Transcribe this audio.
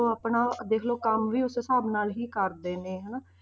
ਉਹ ਆਪਣਾ ਦੇਖ ਲਓ ਕੰਮ ਵੀ ਉਸ ਹਿਸਾਬ ਨਾਲ ਹੀ ਕਰਦੇ ਨੇ ਹਨਾ,